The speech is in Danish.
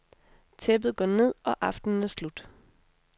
Tæppet går ned, og aftenen er slut.